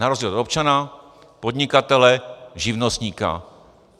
Na rozdíl od občana, podnikatele, živnostníka.